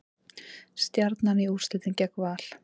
Stjarnan í úrslitin gegn Val